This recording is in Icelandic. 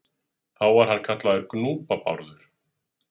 Þá var hann kallaður Gnúpa-Bárður.